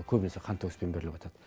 ол көбінесе қантөгіспен беріліватады